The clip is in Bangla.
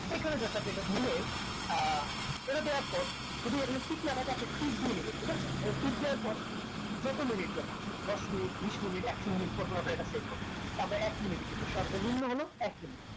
এখানে just আপনি এটা নিয়ে আহ এটা দেওয়ার পর এখানে যদি টিক না থাকে আপনি টিক দিয়ে দিবেন ঠিক আছে এখানে টিক দেওার পর যত minutes যাই দশ মিনিট বিশ মিনিট একশো মিনিট পর পর আমরা এটা দেখবো তা আমরা একমিনিট দিবো সর্ব নিম্ন হলো একমিনিট